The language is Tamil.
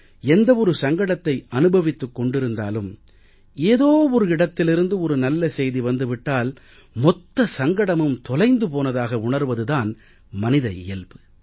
எந்த ஒரு சங்கடத்தை அனுபவித்துக் கொண்டிருந்தாலும் ஏதோ ஒரு இடத்திலிருந்து ஒரு நல்ல செய்தி வந்து விட்டால் மொத்த சங்கடமும் தொலைந்து போனதாக உணர்வது தான் மனித இயல்பு